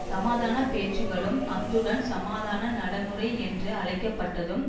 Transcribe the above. சமாதான பேச்சுக்களும் அத்துடன் சமாதான நடைமுறை என்று அழைக்கப்பட்டதும்